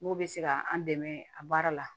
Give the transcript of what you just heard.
N'u bɛ se ka an dɛmɛ a baara la